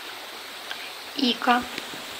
ика